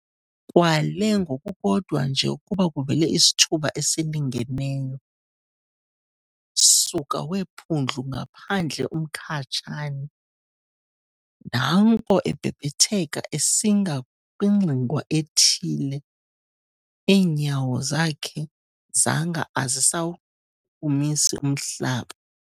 Kwale ngokukodwa nje ukuba kuvele isithuba esilingeneyo, suka weephundlu ngaphandle uMkhatshane, naanko ebhebhetheka esinga kwingxingwana ethile, iinyawo zakhe zanga azisawuchukumisi umhlaba.